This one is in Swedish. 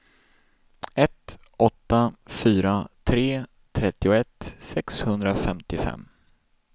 ett åtta fyra tre trettioett sexhundrafemtiofem